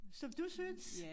Som du synes